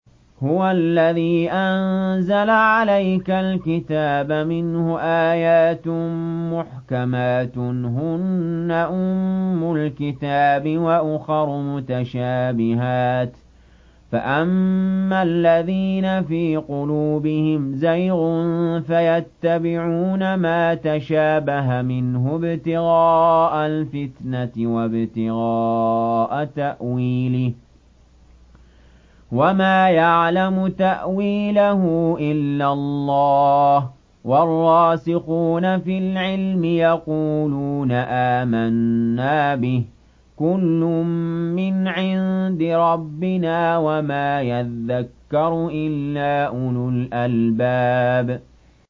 هُوَ الَّذِي أَنزَلَ عَلَيْكَ الْكِتَابَ مِنْهُ آيَاتٌ مُّحْكَمَاتٌ هُنَّ أُمُّ الْكِتَابِ وَأُخَرُ مُتَشَابِهَاتٌ ۖ فَأَمَّا الَّذِينَ فِي قُلُوبِهِمْ زَيْغٌ فَيَتَّبِعُونَ مَا تَشَابَهَ مِنْهُ ابْتِغَاءَ الْفِتْنَةِ وَابْتِغَاءَ تَأْوِيلِهِ ۗ وَمَا يَعْلَمُ تَأْوِيلَهُ إِلَّا اللَّهُ ۗ وَالرَّاسِخُونَ فِي الْعِلْمِ يَقُولُونَ آمَنَّا بِهِ كُلٌّ مِّنْ عِندِ رَبِّنَا ۗ وَمَا يَذَّكَّرُ إِلَّا أُولُو الْأَلْبَابِ